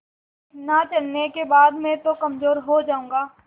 इतना चलने के बाद मैं तो कमज़ोर हो जाऊँगा